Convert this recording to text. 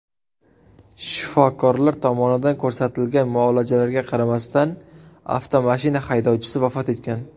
Shifokorlar tomonidan ko‘rsatilgan muolajalarga qaramasdan, avtomashina haydovchisi vafot etgan.